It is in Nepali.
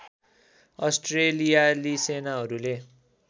अस्ट्रेलियाली सेनाहरूले